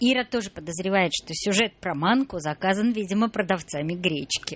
ира тоже подозревает что сюжет про манку заказан видимо продавцами гречки